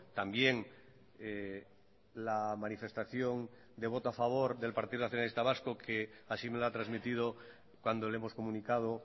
también la manifestación de voto a favor del partido nacionalista vasco que así me lo ha transmitido cuando le hemos comunicado